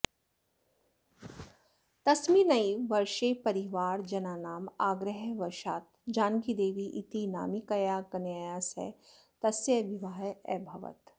तस्मिन्नैव वर्षे परिवारजनानाम् आग्रहवशात् जानकीदेवी इति नामिकया कन्यया सह तस्य विवाहः अभवत्